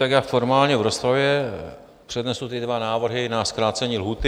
Tak já formálně v rozpravě přednesu ty dva návrhy na zkrácení lhůty.